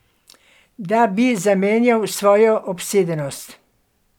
Da bi zamenjal svojo obsedenost.